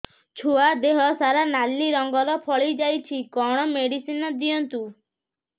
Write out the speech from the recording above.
ଛୁଆ ଦେହ ସାରା ନାଲି ରଙ୍ଗର ଫଳି ଯାଇଛି କଣ ମେଡିସିନ ଦିଅନ୍ତୁ